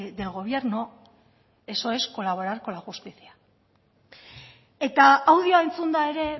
del gobierno eso es colaborar con la justicia eta audioa entzunda ere